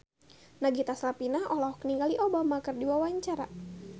Nagita Slavina olohok ningali Obama keur diwawancara